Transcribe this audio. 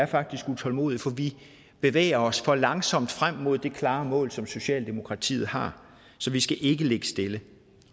faktisk er utålmodige for vi bevæger os for langsomt frem mod det klare mål som socialdemokratiet har så vi skal ikke ligge stille